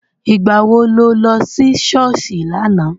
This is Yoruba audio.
Ìgbà wo lo lọ sí ṣọ́ọ̀ṣì lánàá?